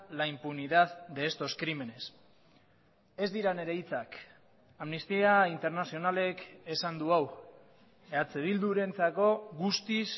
la impunidad de estos crímenes ez dira nire hitzak amnistia internazionalek esan du hau eh bildurentzako guztiz